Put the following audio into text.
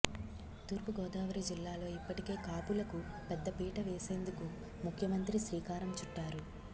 తూర్పు గోదావరి జిల్లాలో ఇప్పటికే కాపులకు పెద్దపీట వేసేందుకు ముఖ్యమంత్రి శ్రీకారం చుట్టారు